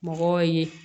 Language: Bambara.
Mɔgɔw ye